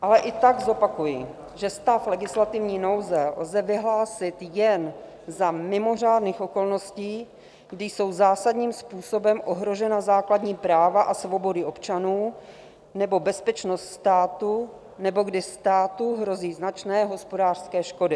Ale i tak zopakuji, že stav legislativní nouze lze vyhlásit jen za mimořádných okolností, kdy jsou zásadním způsobem ohrožena základní práva a svobody občanů nebo bezpečnost státu nebo kdy státu hrozí značné hospodářské škody.